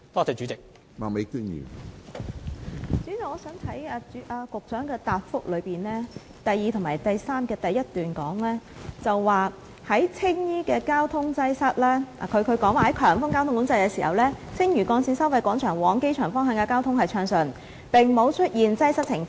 主席，局長在主體答覆的第二及三部分的第一段指出，"在強風交通管制時，青嶼幹線收費廣場往機場方向的交通暢順，並無出現擠塞情況。